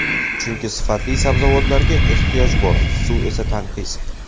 Chunki sifatli sabzavotlarga ehtiyoj bor, suv esa tanqis.